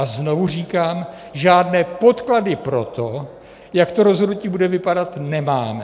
A znovu říkám, žádné podklady pro to, jak to rozhodnutí bude vypadat, nemáme.